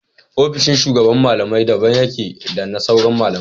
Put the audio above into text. Ofishin shugaban malamai daban yake da na sauran malamai